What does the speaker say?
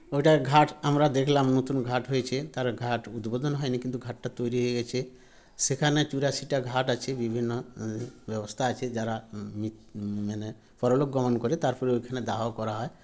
এটার ঘাট আমরা দেখলাম নতুন ঘাট হয়েছে তার ঘাট উদ্বোধন হয়নি কিন্তু ঘাটটা তৈরি হয়ে গেছে সেখানে চুরাশিটা ঘাট আছে বিভিন্ন ব্যবস্থা আছে যারা ম মিত ম মানে পরলোক গমন করে তারপরে ওখানে দাহ করা হয়